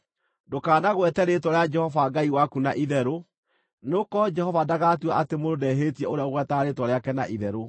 “Ndũkanagwete rĩĩtwa rĩa Jehova Ngai waku na itherũ, nĩgũkorwo Jehova ndagatua atĩ mũndũ ndehĩtie ũrĩa ũgwetaga rĩĩtwa rĩake na itherũ.